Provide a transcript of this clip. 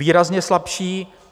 Výrazně slabší.